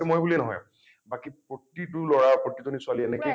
সেইটো মই বুলিয়েই নহয় । বাকী প্ৰতিটো লৰা প্ৰতিজনী ছোৱালীয়ে এনেকেই